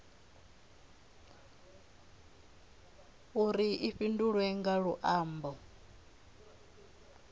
uri i fhindulwe nga luambo